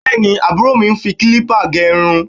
Bẹ́ẹ̀ni, àbúrò mi ń fi kílípà gẹ irun